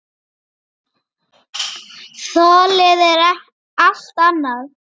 Þolið er allt annað.